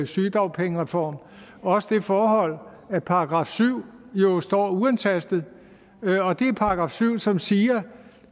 sygedagpengereform også det forhold at § syv jo står uantastet og det er § syv som siger